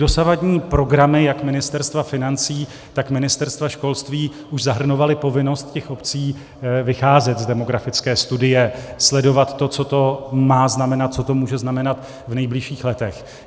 Dosavadní programy jak Ministerstva financí, tak Ministerstva školství už zahrnovaly povinnost těch obcí vycházet z demografické studie, sledovat to, co to má znamenat, co to může znamenat v nejbližších letech.